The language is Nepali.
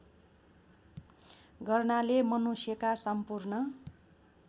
गर्नाले मनुष्यका सम्पूर्ण